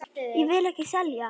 Ég vil ekki selja.